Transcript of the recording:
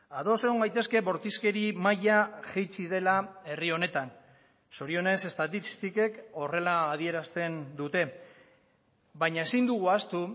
ados egon gaitezke bortizkeri maila jaitsi dela herri honetan zorionez estatistikek horrela adierazten dute baina ezin dugu ahaztu